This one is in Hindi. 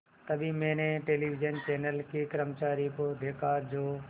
तभी मैंने टेलिविज़न चैनल के कर्मचारियों को देखा जो